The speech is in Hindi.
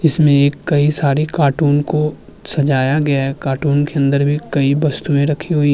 इसमें एक कई सारे कार्टून को सजाया गया है। कार्टून के अंदर भी कई वस्तुएं रखी हुई --